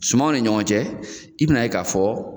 Sumanw ni ɲɔgɔn cɛ, i bɛn'a ye k'a fɔ